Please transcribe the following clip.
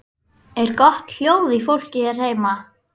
Er gott hljóð í fólki hér heima?